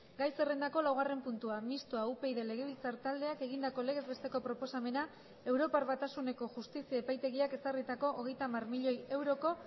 gai zerrendako laugarren puntua mistoa upyd legebiltzar taldeak egindako legez besteko proposamena europar batasuneko justizia epaitegiak ezarritako hogeita hamar milioi euroko